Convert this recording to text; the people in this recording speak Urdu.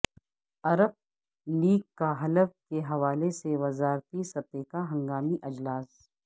عرب لیگ کا حلب کے حوالے سے وزارتی سطح کا ہنگامی اجلاس